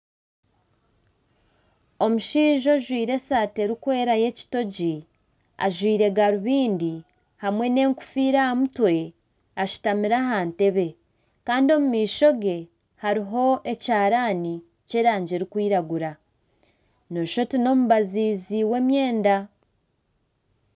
Omushaija ojwaire esaati erikweera y'ekitogi ajwaire garubindi hamwe n'enkofiira aha mutwe, ashutamire aha ntebe Kandi omu maisho ge hariho ekiharani ky'erangi erikwiragura noshusha oti n'omubazizi w'emyenda.